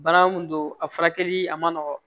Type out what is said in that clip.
Bana mun don a furakɛli a man nɔgɔn